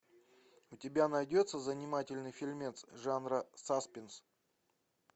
у тебя найдется занимательный фильмец жанра саспенс